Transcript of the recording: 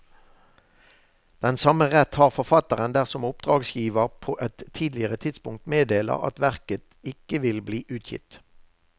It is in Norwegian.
Den samme rett har forfatteren dersom oppdragsgiver på et tidligere tidspunkt meddeler at verket ikke vil bli utgitt.